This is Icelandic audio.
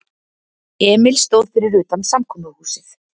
Emil stóð fyrir utan samkomuhúsið.